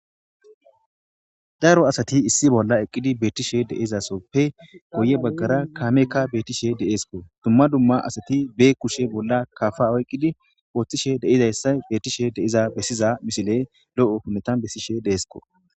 daaro asati issi bolla eqqidi beettishe deizasoppe goye baggara kaamekka beettishe deeesko dumma dumma asati be kushe bolla kafa awayqqidi wooththishe deizayssa beettishe deiza bessiza misile lo7o hunetan bessishe deesko